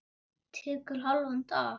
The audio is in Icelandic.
Tekur hálfan dag.